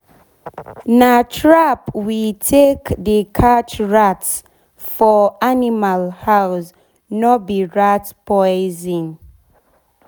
na trap we take dey catch rats for rats for animal house nor be rat poison.